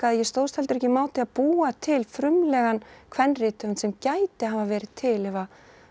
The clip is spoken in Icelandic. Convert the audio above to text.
ég stóðst heldur ekki mátið að búa til frumlegan sem gæti hafa verið til ef